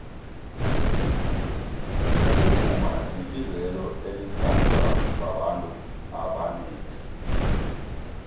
ukuvuma libizelo elithandwababantu abonengi